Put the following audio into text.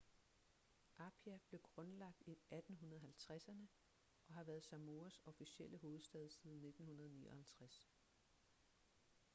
apia blev grundlagt i 1850'erne og har været samoas officielle hovedstad siden 1959